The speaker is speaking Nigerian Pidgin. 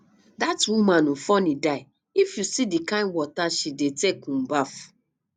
dat woman um funny die if you see the kin water she dey take um baff